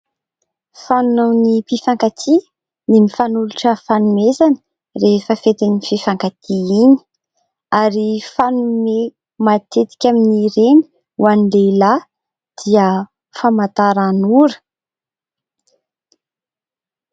Fanaon'ny mpifankatia ny mifanolotra fanomezana rehefa fetin'ny mpifankatia iny ary fanome matetika amin'ny ireny ho an'ny lehilahy dia famantaranora.